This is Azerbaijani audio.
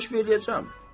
Kəşf eləyəcəm.